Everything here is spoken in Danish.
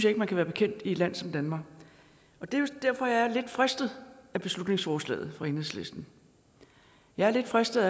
ikke man kan være bekendt i et land som danmark og det er jo derfor jeg er lidt fristet af beslutningsforslaget fra enhedslisten jeg er lidt fristet